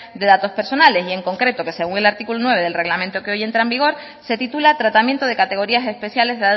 de datos personas y en concreto que según el artículo nueve del reglamento que hoy entra en vigor se titula tratamiento de categorías especiales